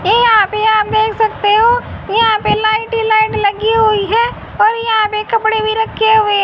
ये यहां पे आप देख सकते हो यहां पे लाइट ही लाइट लगी हुई है और यहां पे कपड़े भी रक्खे हुए --